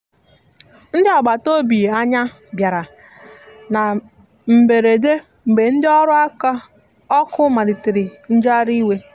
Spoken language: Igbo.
ndi agbata ọbì anya bìara na mgberedemgbe ndi ọrụ ọkụ malitere njegharị iwe.